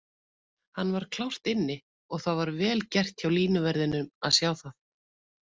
Hann var klárt inni og það var vel gert hjá línuverðinum að sjá það.